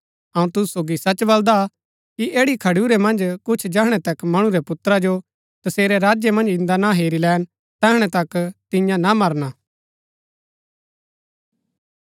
अऊँ तुसु सोगी सच बलदा कि ऐड़ी खडुरै मन्ज कुछ जैहणै तक मणु रै पुत्रा जो तसेरै राज्य मन्ज इन्दा ना हेरी लैन तैहणै तक तियां ना मरना